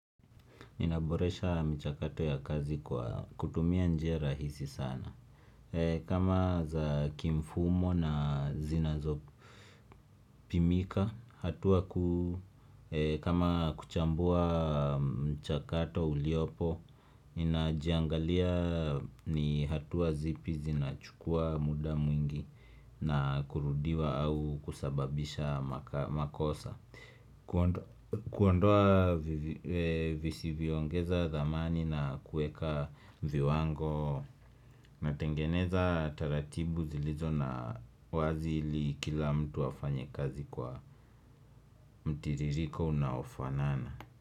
Ninaboresha michakato ya kazi kwa kutumia njia rahisi sana kama za kimfumo na zinazo pimika kama kuchambua mchakato uliopo najiangalia ni hatua zipi zina chukua muda mwingi na kurudiwa au kusababisha maka makosa kuondoa vivi visivyo ongeza dhamani na kueka viwango Natengeneza taratibu zilizo na wazi ili kila mtu afanye kazi kwa mtiririko unaofanana.